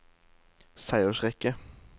seiersrekke